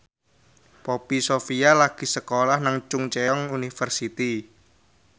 Poppy Sovia lagi sekolah nang Chungceong University